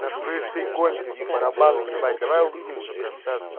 слышь ты конь барабаный ебать давай увидимся прямо сейчас